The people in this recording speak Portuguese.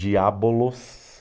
Diabolos.